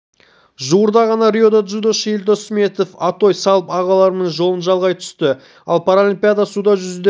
жуырда ғана риода дзюдошы елдос сметов атой салып ағаларының жолын жалғай түсті ал паралимпиадада суда жүзуден